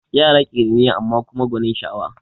Yara ƙiriniya amma kuma gwanin sa'awa